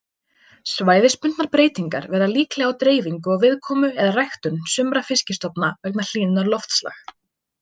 Svæðisbundnar breytingar verða líklega á dreifingu og viðkomu eða ræktun sumra fiskistofna vegna hlýnunar loftslag.